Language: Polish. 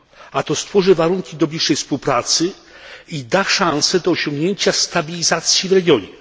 a to stworzy warunki do bliższej współpracy i da szansę na osiągnięcie stabilizacji w regionie.